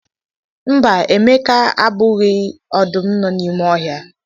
Mba, Emeka egbughị ọdụm nọ n'ime ọhịa.